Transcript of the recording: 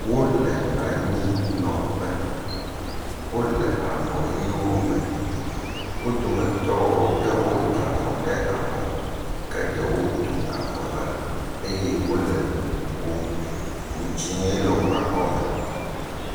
Wo le anyinɔƒe wole avɔʋiwo me. Wo dometɔ ɖewo da avɔ ɖe abɔ. Geɖewo tu avɔ la eye wole ŋu ƒom. Ŋu dzie le woƒe akɔme.